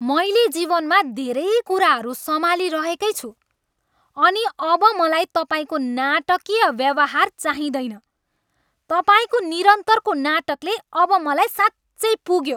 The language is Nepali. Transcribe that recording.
मैले जीवनमा धेरै कुराहरू सम्हालिरहेकै छु अनि अब मलाई तपाईँको नाटकीय व्यवहार चाहिँदैन। तपाईँको निरन्तरको नाटकले अब मलाई साँच्चै पुग्यो।